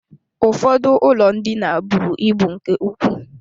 Ụfọdụ ụlọ ndina buru ibu nke ukwuu.